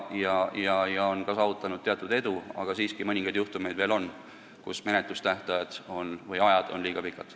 On ka saavutatud teatud edu, aga siiski mõningad juhtumid veel on, kus menetlusaeg on olnud liiga pikk.